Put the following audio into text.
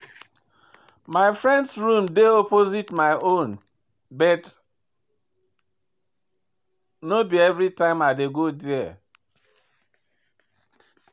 My friend room dey opposite my own but no be everytime I dey go there.